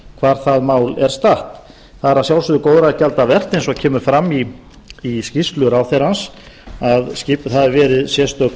hvar það mál er statt það er að sjálfsögðu góðra gjalda vert eins og kemur fram í skýrslu ráðherrans að skipuð hafi verið sérstök